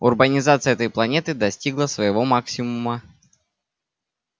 урбанизация этой планеты достигла своего максимума